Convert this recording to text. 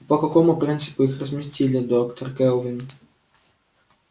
а по какому принципу их разместили доктор кэлвин